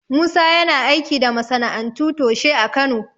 Musa yana aiki da masana'antu toshe a Kano.